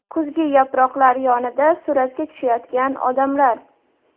Kuzgi yaproqlar yonida suratga tushayotgan odamlar.